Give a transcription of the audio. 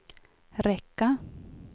räcka